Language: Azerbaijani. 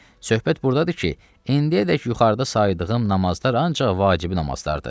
Söhbət burdadır ki, indiyədək yuxarıda saydığım namazlar ancaq vacibi namazlardır.